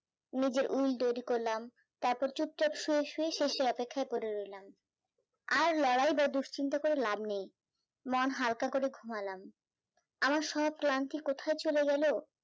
নিজে উল তৈরী করলাম, তারপর চুপচাপ শুয়ে শুয়েই শেষের অপেক্ষায় পড়ে রইলাম, আর লড়াই বা দুশ্চিন্তা করে লাভ নেই, মন হালকা করে ঘুমালাম, আমার সব ক্লান্তি কোথায় চলে গেল,